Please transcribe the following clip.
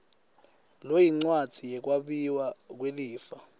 loyincwadzi yekwabiwa kwelifa